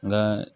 N ka